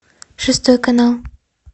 шестой канал